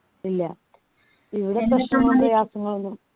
ഇല്ല പ്രയാസങ്ങളൊന്നും